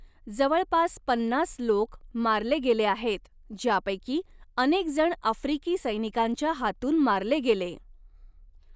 जवळपास पन्नास लोक मारले गेले आहेत, ज्यापैकी अनेक जण आफ्रिकी सैनिकांच्या हातून मारले गेले.